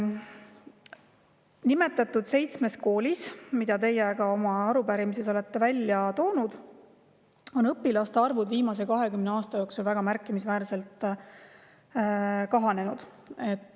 Nimetatud seitsmes koolis, mille te oma arupärimises olete välja toonud, on õpilaste arv viimase 20 aasta jooksul väga märkimisväärselt kahanenud.